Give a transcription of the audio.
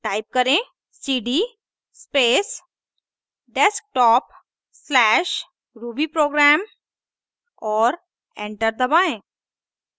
type करें cd space desktop/rubyprogram और enter दबाएं